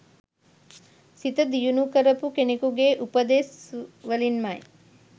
සිත දියුණු කරපු කෙනෙකුගේ උපදෙස් වලින්මයි.